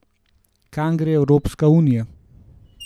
Kam gre Evropska unija?